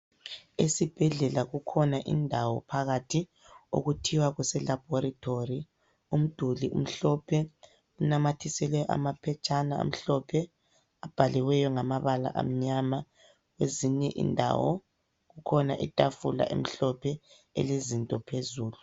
Esibhedlela kukhona indawo phakathi okuthiwa kuse"Laboratory". Umduli umhlophe kunamathiselwe amaphetshana amhlophe abhaliweyo ngamabala amnyama kwezinye indawo. Kukhona itafula elezinto phezulu.